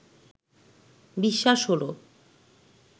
বিশ্বাস হলো